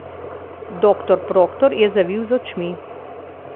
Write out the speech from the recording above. Doktor Proktor je zavil z očmi.